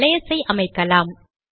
ஒரு அலையஸ் ஐ அமைக்கலாம்